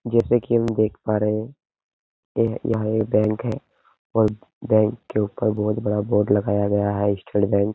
जैसे कि हम देख पा रहे हैं ये यह एक बैंक है और बैंक के ऊपर बोहोत बड़ा बोर्ड लगाया गया है स्टेट बैंक --